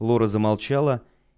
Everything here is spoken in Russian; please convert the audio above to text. лора замолчала